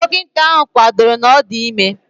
Dọkịta ahụ kwadoro na ọ dị ime